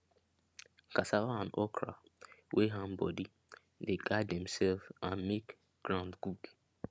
cassava and okra wey ham body dey guard themselves and make ground good